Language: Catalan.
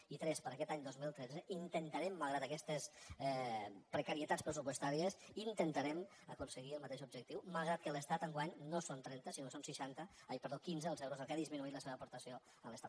i cinc per a aquest any dos mil tretze intentarem malgrat aquestes precarietats pressupostàries intentarem aconseguir el mateix objectiu malgrat que de l’estat enguany no són trenta sinó que són quinze els euros a què ha disminuït la seva aportació de l’estat